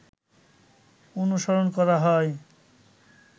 অনুসরণ করা হয়